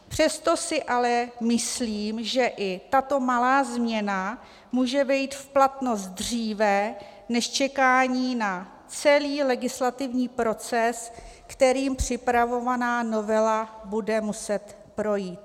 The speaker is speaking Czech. Přesto si ale myslím, že i tato malá změna může vejít v platnost dříve než čekání na celý legislativní proces, kterým připravovaná novela bude muset projít.